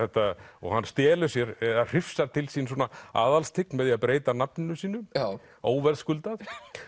og hann hrifsar til sín svona með því að breyta nafninu sínu óverðskuldað